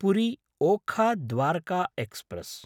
पुरी–ओखाा Dwarka express